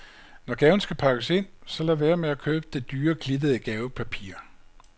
Når gaven skal pakkes ind, så lad være med at købe det dyre, glittede gavepapir.